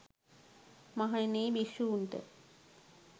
මහණෙනි යි භික්ෂූන්ට